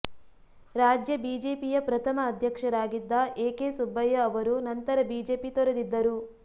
ರಾಜ್ಯ ಬಿಜೆಪಿಯ ಪ್ರಥಮ ಅಧ್ಯಕ್ಷರಾಗಿದ್ದ ಎ ಕೆ ಸುಬ್ಬಯ್ಯ ಅವರು ನಂತರ ಬಿಜೆಪಿ ತೊರೆದಿದ್ದರು